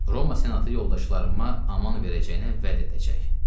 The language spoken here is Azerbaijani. Roma senatı yoldaşlarıma aman verəcəyinə vəd edəcək.